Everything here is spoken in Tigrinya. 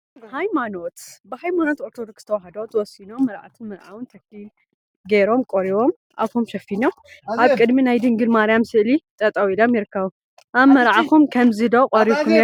ሃይማኖት ብሃይማኖት ኦርቶዶክስ ተዋህዶ ተወሲኖም መርዓትን መርዓዊን ተክሊሊል ገይሮም ቆሪቦም አፎም ሸፊኖም አብ ቅድሚ ናይ ማርያም ድንግል ስእሊ ጠጠው ኢሎም ይርከቡ፡፡ አብ መርዓኩም ከምዚ ዶ ቆሪብኩም ነይርኩም?